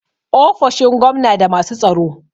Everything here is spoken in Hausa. ofoshin gwamna da masu tsaro